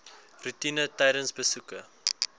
roetine tydens besoeke